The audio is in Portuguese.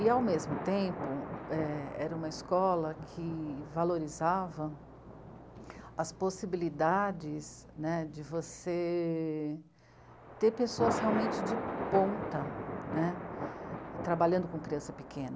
E, ao mesmo tempo, é... era uma escola que valorizava as possibilidades, né, de você ter pessoas realmente de ponta, né, trabalhando com criança pequena.